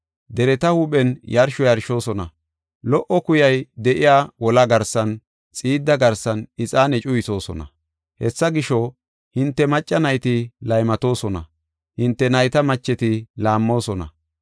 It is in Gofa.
Dereta huuphen yarsho yarshoosona; lo77o kuyay de7iya wolaa garsan, xiidda garsan ixaane cuyisoosona. Hessa gisho, hinte macca nayti laymatoosona; hinte nayta macheti laammoosona.